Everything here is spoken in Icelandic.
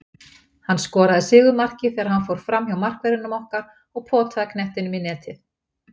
Hann skoraði sigurmarkið þegar hann fór framhjá markverðinum okkar og potaði knettinum í netið.